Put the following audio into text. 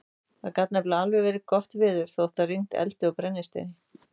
Það gat nefnilega alveg verið gott veður þótt það rigndi eldi og brennisteini.